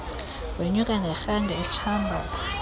wenyuka ngerhangi etshambaza